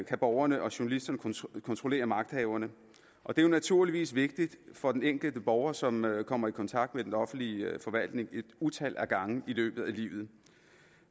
kan borgerne og journalisterne kontrollere magthaverne og det er naturligvis vigtigt for den enkelte borger som kommer i kontakt med den offentlige forvaltning et utal af gange i løbet af livet